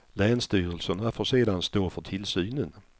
Länsstyrelserna får sedan stå för tillsynen.